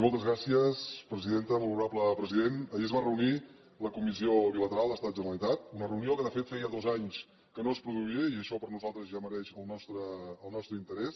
molt honorable president ahir es va reunir la comissió bilateral generalitat estat una reunió que de fet feia dos anys que no es produïa i això per nosaltres ja mereix el nostre interès